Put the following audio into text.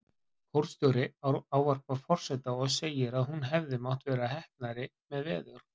Kórstjóri ávarpar forseta og segir að hún hefði mátt vera heppnari með veður.